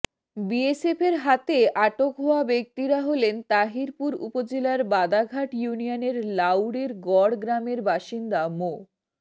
বিএসএফের হাতে আটক হওয়া ব্যক্তিরা হলেন তাহিরপুর উপজেলার বাদাঘাট ইউনিয়নের লাউড়ের গড় গ্রামের বাসিন্দা মো